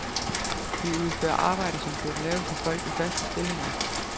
Vi udfører arbejde, som burde laves af folk i faste stillinger.